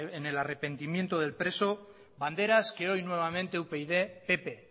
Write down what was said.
en el arrepentimiento del preso banderas que hoy nuevamente upyd pp